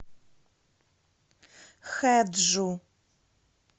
хэджу